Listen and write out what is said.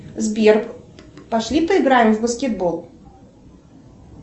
сбер пошли поиграем в баскетбол